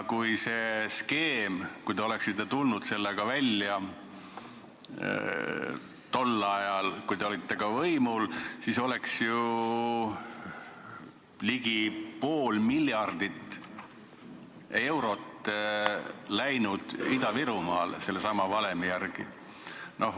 Kui te oleksite tulnud selle skeemiga välja tol ajal, kui te olite võimul, siis oleks ju ligi pool miljardit eurot läinud sellesama valemi järgi Ida-Virumaale.